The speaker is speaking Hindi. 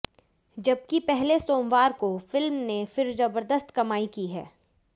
जबकि पहले सोमवार को फिल्म ने फिर जबरदस्त कमाई की है